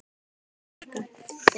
Storka þeim.